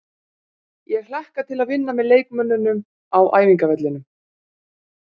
Ég hlakka til að vinna með leikmönnunum á æfingavellinum.